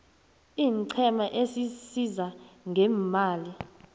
iinqhema ezisiza ngeemali